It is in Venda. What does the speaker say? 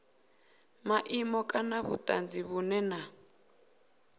maimo kana vhutanzi vhunwe na